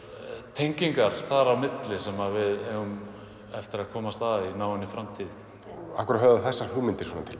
tengingar þar á milli sem við eigum eftir að komast að í náinni framtíð af hverju höfða þessar hugmyndir svona til